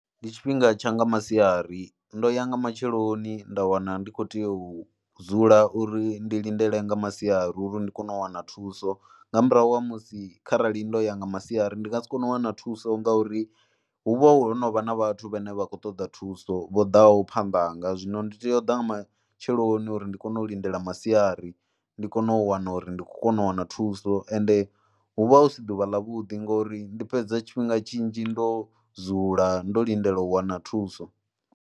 Ndi tshifhinga tsha nga masiari, ndo ya nga matsheloni nda wana ndi khou tea u dzula uri ndi lindele nga masiari uri ndi kone u wana thuso nga murahu ha musi kharali ndo ya nga masiari ndi nga si kone u wana thuso ngauri hu vha ho no vha na vhathu vhane vha khou ṱoḓa thuso vho ḓaho phanda hanga. Zwino ndi tea u ḓa nga matsheloni uri ndi kone u lindela masiari, ndi kone u wana uri ndi khou kona u wana thuso ende hu vha hu si ḓuvha ḽavhuḓi ngori ndi fhedza tshifhinga tshinzhi ndo dzula, ndo lindela u wana thuso.